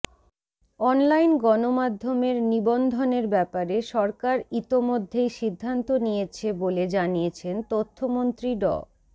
online গণমাধ্যমের নিবন্ধনের ব্যাপারে সরকার ইতোমধ্যেই সিদ্ধান্ত নিয়েছে বলে জানিয়েছেন তথ্যমন্ত্রী ড